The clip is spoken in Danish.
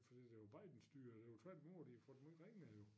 Fordi de var Bidens styre det var tvært i mod de har fået det meget ringere jo